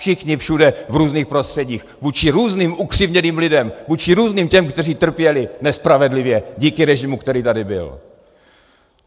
Všichni všude, v různých prostředích, vůči různým ukřivděným lidem, vůči různým těm, kteří trpěli nespravedlivě díky režimu, který tady byl.